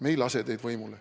Me ei lase teid võimule.